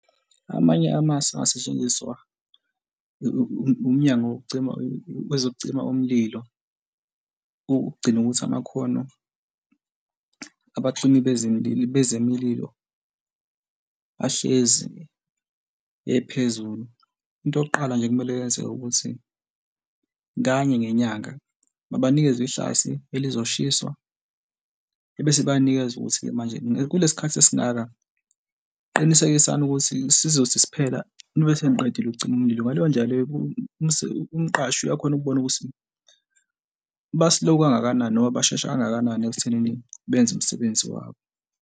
Amanye amasu angasetshenziswa umnyango wokucima wezokucima umlilo, ukugcina ukuthi amakhono abacimi bezemlilo, bezemlililo ahlezi ephezulu. Into yokuqala nje ekumele yenzeke ukuthi kanye ngenyanga babanikeze ihlathi elizoshiswa, ebese bayanikezwe ukuthi-ke manje kulesi khathi esingaka, qinisekisani ukuthi sizothi siphela nibe seniqedile okucima umlilo. Ngaleyo ndlela leyo umqashi uyakhona ukubona ukuthi ba-slow kangakanani noma bashesha kangakanani ekuthenini benze umsebenzi wabo.